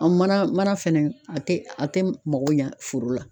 An mana mana fɛnɛ a tɛ a tɛ mago ɲa foro la.